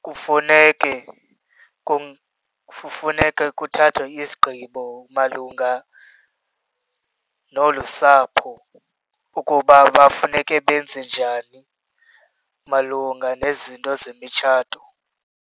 Kufuneke , kufuneke kuthathwe isigqibo malunga nolu sapho ukuba bafuneke benze njani malunga nezinto zemitshato.